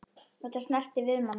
Þetta snertir við manni.